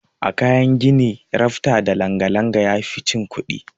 A kayan gini rafta da langa-langa yafi cin kuɗi.